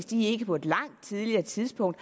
de på et langt tidligere tidspunkt